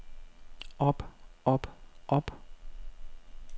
op op op